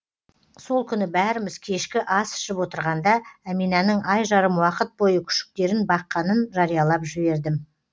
сол күні бәріміз кешкі ас ішіп отырғанда әминаның ай жарым уақыт бойы күшіктерін баққанын жариялап жібердім